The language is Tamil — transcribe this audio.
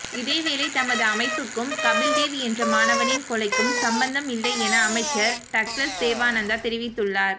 இதேவேளை தமது அமைப்புக்கும் கபில்தேவ் என்ற மாணவனின் கொலைக்கும் சம்பந்தம் இல்லை என அமைச்சர் டக்ளஸ் தேவாநந்தா தெரிவித்துள்ளார்